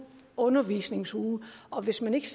undervisningsuge og hvis man ikke